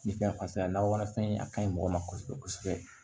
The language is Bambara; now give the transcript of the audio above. Ni fɛn fasa lawara fɛn a ka ɲi mɔgɔ ma kosɛbɛ kosɛbɛ